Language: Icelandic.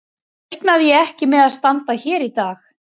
Þá reiknaði ég ekki með að standa hér í dag.